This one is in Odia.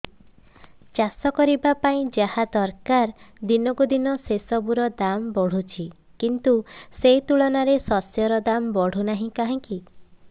ଚାଷ କରିବା ପାଇଁ ଯାହା ଦରକାର ଦିନକୁ ଦିନ ସେସବୁ ର ଦାମ୍ ବଢୁଛି କିନ୍ତୁ ସେ ତୁଳନାରେ ଶସ୍ୟର ଦାମ୍ ବଢୁନାହିଁ କାହିଁକି